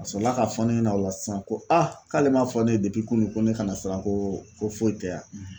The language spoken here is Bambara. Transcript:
A sɔrɔla ka fɔ ne ɲɛna o la sisan ko k'ale ma fɔ ne ye depi kunu ko ne kana siran ko foyi tɛ a